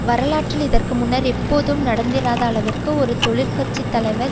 வரலாற்றில் இதற்கு முன்னர் எப்போதும் நடந்திராத அளவிற்கு ஒரு தொழிற்கட்சி தலைவர்